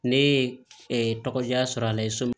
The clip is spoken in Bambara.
Ne ye tɔgɔ diya sɔrɔ a la so min